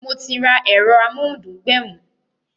Mo ti ra ero amohun dun gbẹ̀mù